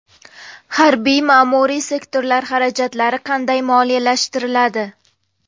Harbiy-ma’muriy sektorlar xarajatlari qanday moliyalashtiriladi?.